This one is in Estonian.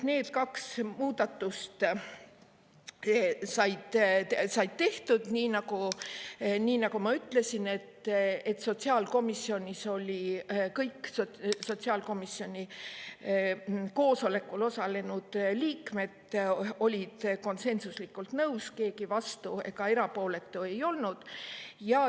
Need kaks muudatust said tehtud nii, nagu ma ütlesin, et sotsiaalkomisjonis olid kõik sotsiaalkomisjoni koosolekul osalenud liikmed nende tegemisega konsensuslikult nõus, keegi vastu ega erapooletu ei olnud.